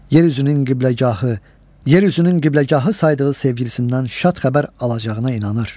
Yer üzünün qibləgahı, yer üzünün qibləgahı saydığı sevgilisindən şad xəbər alacağına inanır.